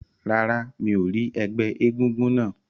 Rárá, mi ò rí ẹgbẹ́ egúngún náà.